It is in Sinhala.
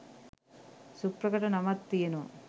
සුප්‍රකට නමක් තියනව